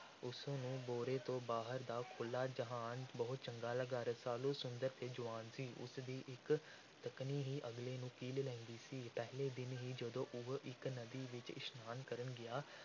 ਉਸ ਨੂੰ ਭੋਰੇ ਤੋਂ ਬਾਹਰ ਦਾ ਖੁੱਲ੍ਹਾ ਜਹਾਨ ਬਹੁਤ ਚੰਗਾ ਲੱਗਾ। ਰਸਾਲੂ ਸੁੰਦਰ ਅਤੇ ਜਵਾਨ ਸੀ। ਉਸ ਦੀ ਇੱਕ ਤੱਕਣੀ ਹੀ ਅਗਲੇ ਨੂੰ ਕੀਲ ਲੈਂਦੀ ਸੀ। ਪਹਿਲੇ ਦਿਨ ਹੀ ਜਦੋਂ ਉਹ ਇਕ ਨਦੀ ਵਿਚ ਇਸ਼ਨਾਨ ਕਰਨ ਗਿਆ,